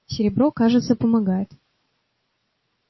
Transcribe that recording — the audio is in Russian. серебро кажется помогает